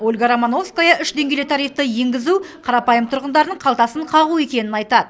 ольга романовская үш деңгейлі тарифті енгізу қарапайым тұрғындардың қалтасын қағу екенін айтады